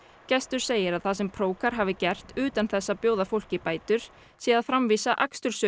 gestur segir að það sem hafi gert utan þess að bjóða fólki bætur sé að framvísa